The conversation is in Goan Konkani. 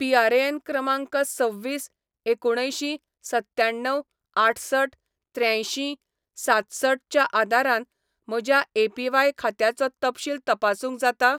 पीआरएएन क्रमांक सव्वीस एकुणअंयशीं सत्याण्णव आठसठ त्र्यांयशीं सातसठ च्या आदारान म्हज्या एपीव्हाय खात्याचो तपशील तपासूंक जाता?